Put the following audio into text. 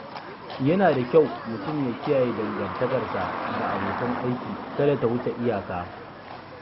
Yana da kyau mutum ya kiyaye dangantakarsa da abokan aiki kada ta wuce iyaka.